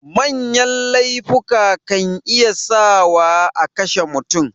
Manya laifuka kan iya sa wa akashe mutum